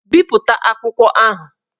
Bipụta akwụkwọ ahụ!